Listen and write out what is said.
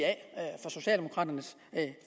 af